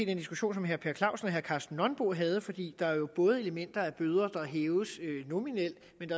den diskussion som herre per clausen og herre karsten nonbo havde fordi der jo både er elementer af bøder der hæves nominelt